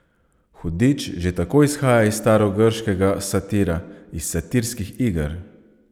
Hudič že tako izhaja iz starogrškega satira, iz satirskih iger.